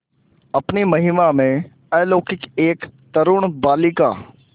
अपनी महिमा में अलौकिक एक तरूण बालिका